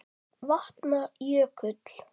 Vatna- jökull